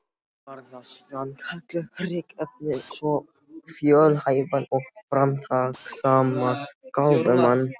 Var það sannkallað hryggðarefni um svo fjölhæfan og framtakssaman gáfumann.